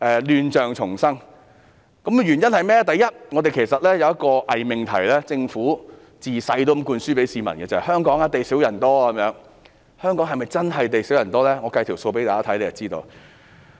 亂象叢生有以下原因：第一，其實香港一直存在一個偽命題，政府向市民從小灌輸香港地少人多這個概念。